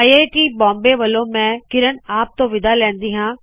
I I T Bombay ਵੱਲੋ ਮੈ ਕਿਰਣ ਆਪ ਤੋ ਵਿਦਾ ਲੈਂਦੀ ਹਾ